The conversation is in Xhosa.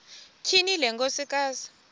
tyhini le nkosikazi